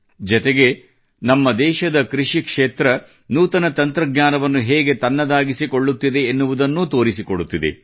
ಜತೆಗೇ ನಮ್ಮ ದೇಶದ ಕೃಷಿ ಕ್ಷೇತ್ರ ನೂತನ ತಂತ್ರಜ್ಞಾನವನ್ನು ಹೇಗೆ ತನ್ನದಾಗಿಸಿಕೊಳ್ಳುತ್ತಿದೆ ಎನ್ನುವುದನ್ನೂ ತೋರಿಸಿಕೊಡುತ್ತಿದೆ